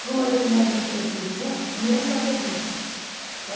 Fui a uma determinada emissora de televisão e eu não sabia disso, tá?